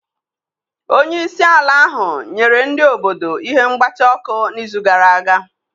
Onye isi ala ahụ nyere ndị obodo ihe mgbatị ọkụ n'izu gara aga.